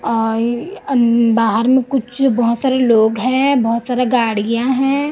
आई अन्द बाहर में कुछ बहोत सारे लोग हैं बहोत सारा गाडियां हैं।